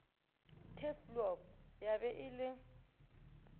turfloop ya be e le